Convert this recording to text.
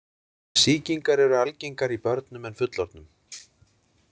Sýkingar eru algengari í börnum en fullorðnum.